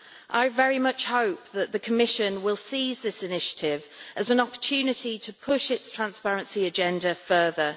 I very much hope that the Commission will seize this initiative as an opportunity to push its transparency agenda further.